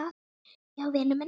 Já, vinur minn.